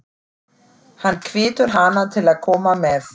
Hann hvetur hana til að koma með.